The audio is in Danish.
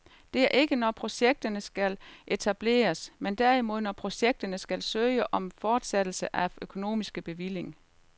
Det er ikke når projekterne skal etableres, men derimod når projekterne skal søge om fortsættelse af økonomisk bevilling.